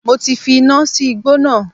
Mo ti fi iná sí igbó náà